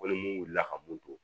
Ko ni mun wulila ka mun don